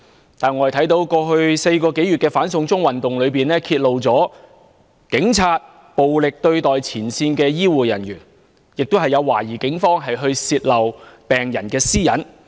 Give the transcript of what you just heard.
然而，我們看見，在過去4個多月的"反送中運動"中，揭露出警察暴力對待前線醫護人員，亦有懷疑警方泄露病人私隱的情況。